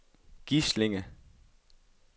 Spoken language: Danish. Gislinge